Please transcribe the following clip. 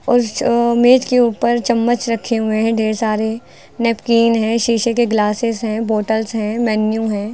उस मेज के ऊपर चम्मच रखे हुए हैं ढेर सारे नैपकिन हैं शीशे के ग्लासेस हैं बोतल्स हैं मेनू हैं।